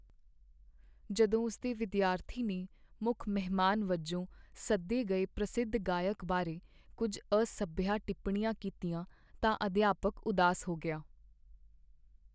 ਜਦੋਂ ਉਸ ਦੇ ਵਿਦਿਆਰਥੀ ਨੇ ਮੁੱਖ ਮਹਿਮਾਨ ਵਜੋਂ ਸੱਦੇ ਗਏ ਪ੍ਰਸਿੱਧ ਗਾਇਕ ਬਾਰੇ ਕੁੱਝ ਅਸਭਿਆ ਟਿੱਪਣੀਆਂ ਕੀਤੀਆਂ ਤਾਂ ਅਧਿਆਪਕ ਉਦਾਸ ਹੋ ਗਿਆ।